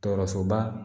Tɔɔrɔsoba